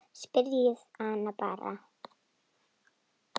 Spyrjið hana bara.